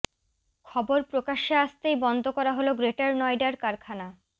খবর প্রকাশ্যে আসতেই বন্ধ করা হল গ্রেটার নয়ডার কারখানা